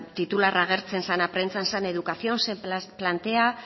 titular agertzen zena prentsan zen educación se plantea